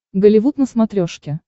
голливуд на смотрешке